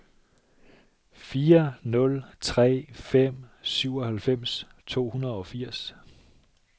fire nul tre fem syvoghalvfems to hundrede og firs